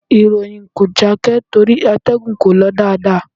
Ìròyìn kò jákè torí àtẹ̀gùn kò lọ dáadáa.